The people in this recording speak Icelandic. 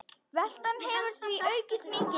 Veltan hefur því aukist mikið.